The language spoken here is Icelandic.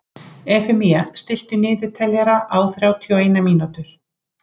Efemía, stilltu niðurteljara á þrjátíu og eina mínútur.